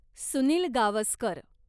Sunil Gavaskar